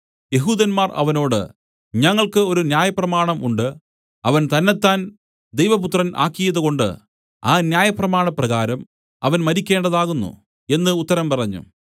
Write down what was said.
യെഹൂദന്മാർ അവനോട് ഞങ്ങൾക്കു ഒരു ന്യായപ്രമാണം ഉണ്ട് അവൻ തന്നെത്താൻ ദൈവപുത്രൻ ആക്കിയതുകൊണ്ട് ആ ന്യായപ്രമാണപ്രകാരം അവൻ മരിക്കണ്ടതാകുന്നു എന്നു ഉത്തരം പറഞ്ഞു